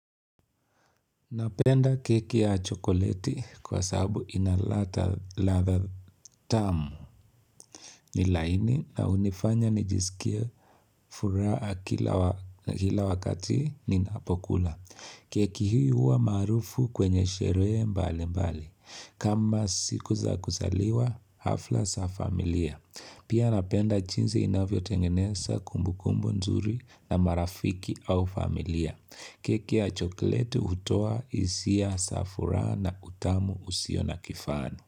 Napenda keki ya chokoleti kwa sahabu inaladha ladha tamu ni laini na unifanya nijisikia furaha kila wakati ninapokula. Keki hii huwa marufu kwenye sherehe mbali mbali. Kama siku za kuzaliwa, hafla za familia. Pia napenda jinzi inavyo tengeneza kumbu kumbu nzuri na marafiki au familia. Kiki ya choklete utoa hisia za furaha na utamu usio na kifani.